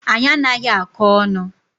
Anyi anaghi akọ onu